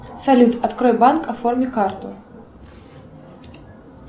салют открой банк оформи карту